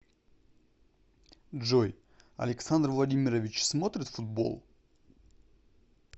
джой александр владимирович смотрит футбол